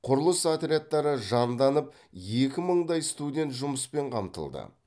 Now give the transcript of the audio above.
құрылыс отрядтары жанданып екі мыңдай студент жұмыспен қамтылды